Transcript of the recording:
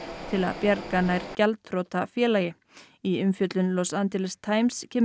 til að bjarga nær gjaldþrota félagi í umfjöllun Los Angeles Times kemur